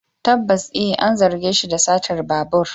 Tabbas a, an zarge shi da satar babur.